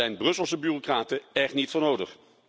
Daar zijn Brusselse bureaucraten echt niet voor nodig.